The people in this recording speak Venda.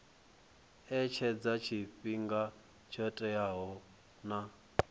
etshedza tshifhinga tsho teaho na